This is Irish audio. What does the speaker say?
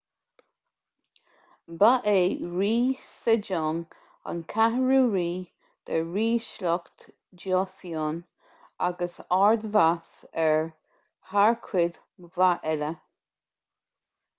ba é rí sejong an cheathrú rí de ríshliocht joseon agus ard-mheas air thar cuid mhaith eile